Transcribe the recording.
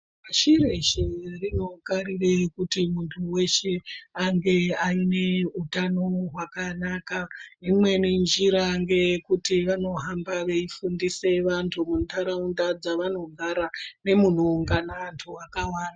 Pashi reshe rinogarira kuti muntu weshe ange ane hutano hwakanaka imweni njira ndeye kuti vanohamba veifundisa antu mundaraunda antu mavanogara nemavanogara.